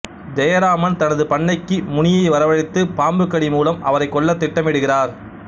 ஜெயராமன் தனது பண்ணைக்கு முனியை வரவழைத்து பாம்புக் கடி மூலம் அவரைக் கொல்ல திட்டமிட்டுகிறார்